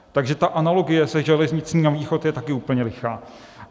Takže ta analogie se železnicí na východ je také úplně lichá.